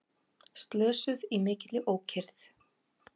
Slösuðust í mikilli ókyrrð